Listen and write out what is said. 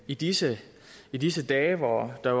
i disse i disse dage hvor der